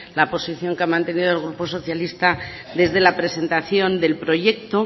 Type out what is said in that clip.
la posición que ha mantenido el grupo socialista desde la presentación del proyecto